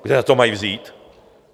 Kde na to mají vzít?